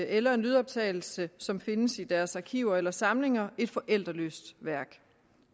eller en lydoptagelse som findes i deres arkiver eller samlinger et forældreløst værk